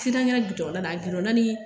kɛra da la a da ni